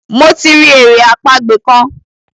Mo ti ri èrè àpagbè kán.